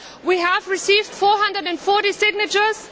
We have received 440 signatures.